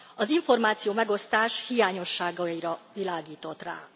az információmegosztás hiányosságaira világított rá.